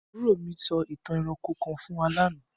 Aburo mi so itan eranko kan fun wa lana.